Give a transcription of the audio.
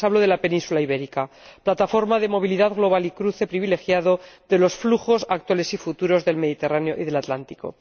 Les hablo de la península ibérica, plataforma de movilidad global y cruce privilegiado de los flujos actuales y futuros del Mediterráneo y del Atlántico.